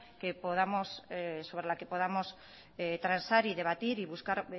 sobre la que podamos transar y debatir y buscar